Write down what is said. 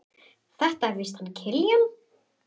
Þetta er víst hann Kiljan.